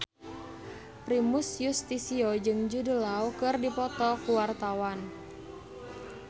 Primus Yustisio jeung Jude Law keur dipoto ku wartawan